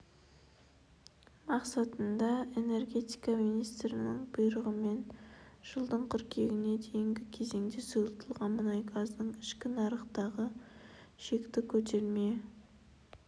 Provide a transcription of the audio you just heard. мақсатында энергетика министрлігінің бұйрығымен жылдың қыркүйегіне дейінгі кезеңде сұйылтылған мұнай газының ішкі нарықтағы шекті көтерме